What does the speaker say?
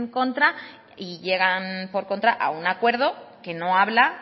contra y llegan por contra a un acuerdo que no habla